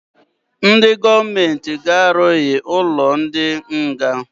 Ndị gọọment g'arugharị ụnọ ndị nga.